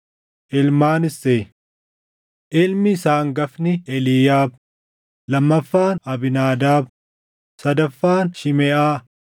Ilmaan Isseey: Ilmi isaa hangafni Eliiyaab, lammaffaan Abiinaadaab, sadaffaan Shimeʼaa,